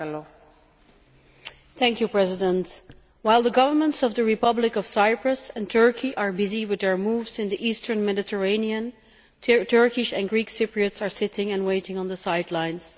Madam President, while the governments of the Republic of Cyprus and Turkey are busy with their moves in the eastern Mediterranean, Turkish and Greek Cypriots are sitting and waiting on the sidelines.